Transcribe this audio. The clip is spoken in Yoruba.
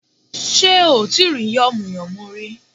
Sé ò tí rí yànmùyánmú rí